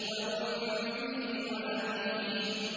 وَأُمِّهِ وَأَبِيهِ